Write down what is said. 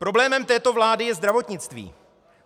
Problémem této vlády je zdravotnictví.